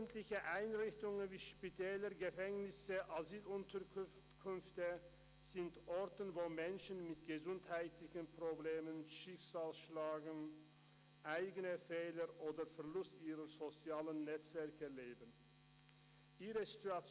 Öffentliche Einrichtungen wie Spitäler, Gefängnisse, Asylunterkünfte sind Orte, wo Menschen mit gesundheitlichen Problemen, Schicksalsschlägen, wegen eigener Fehler oder wegen Verlusts ihrer sozialen Netzwerke leben.